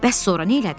Bəs sonra nədın?